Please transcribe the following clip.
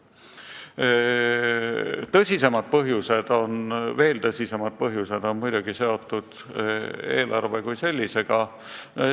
Aga veel tõsisemad põhjused on muidugi seotud eelarve sisuga.